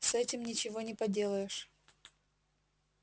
с этим ничего не поделаешь